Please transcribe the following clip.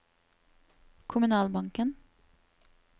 kommunalbanken